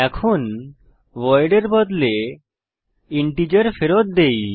এখন ভয়েড এর বদলে ইন্টিজার ফেরত দেই